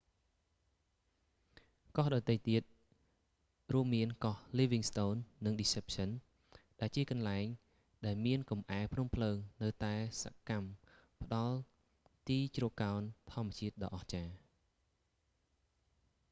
កោះដទៃទៀតរួមមានកោះ livingston និង deception ដែលជាកន្លែងដែលមានកំអែលភ្នំភ្លើងនៅតែសកម្មផ្តល់នូវទីជ្រកកោនធម្មជាតិដ៏អស្ចារ្យ